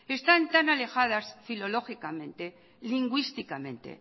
están tan alejadas filológicamente y lingüísticamente